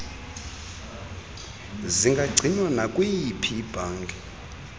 zingagcinwa nakwiyiphi ibhanki